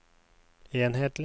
enhetlig